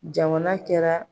Jamana kɛra.